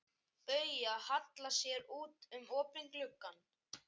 Bauja hallar sér út um opinn glugga.